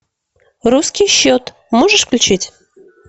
русский счет можешь включить